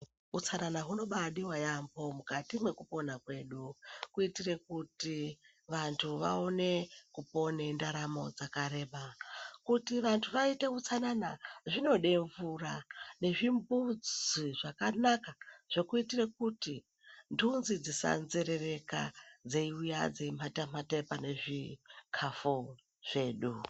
Utsanana hunobaadiwa yamho mukati mwekupona kwedu kuitire kuti vanhu vaone kupone ndaramo dzakareba kuti vantu vaite utsanana zvinode mvura nezvimbuzi zvakanaka zvekuitire kuti nhunzi dzisanzerererka dzeiuye dzeimata-mata pane zvikafu zvedu.